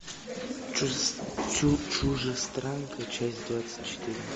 чужестранка часть двадцать четыре